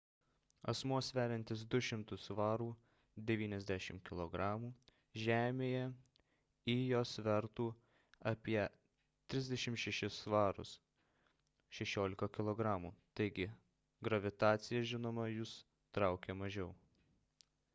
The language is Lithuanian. asmuo sveriantis 200 svarų 90 kg žemėje ijo svertų apie 36 svarus 16 kg. taigi gravitacija žinoma jus traukia mažiau